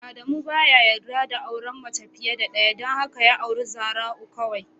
Amadu baya yarda da auren mace fiye da ɗaya don haka ya auri Zara'u kawai.